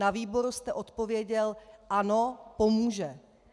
Na výboru jste odpověděl "ano, pomůže".